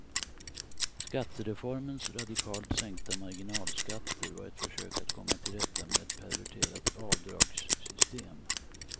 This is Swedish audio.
Skattereformens radikalt sänkta marginalskatter var ett försök att komma till rätta med ett perverterat avdragssystem.